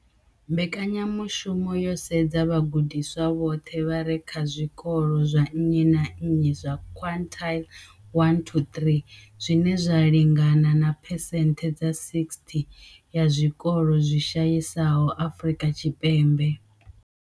Mbekanyamushumo yo sedza vhagudiswa vhoṱhe vha re kha zwikolo zwa nnyi na nnyi zwa quintile 1-3, zwine zwa lingana na phesenthe dza 60 ya zwikolo zwi shayesaho Afrika Tshipembe.